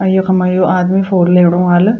अर यख्मा यो आदमी फ़ोन लेणु वाल।